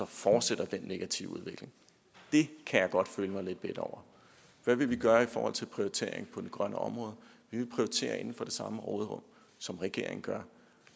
fortsætter den negative udvikling det kan jeg godt føle mig lidt bitter over hvad vil vi gøre i forhold til prioritering på det grønne område vi vil prioritere inden for det samme råderum som regeringen gør